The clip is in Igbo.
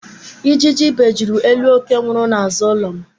Ijiji bejuru elu ókè nwụrụ n'azụ ụlọ m.